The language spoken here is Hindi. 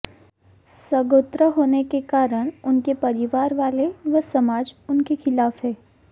सगोत्र होने के कारण उनके परिवार वाले व समाज उनके खिलाफ हैं